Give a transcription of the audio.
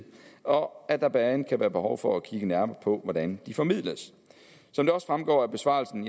og at der blandt andet kan være behov for at kigge nærmere på hvordan de formidles som det også fremgår af besvarelsen